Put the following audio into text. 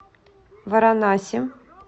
варанаси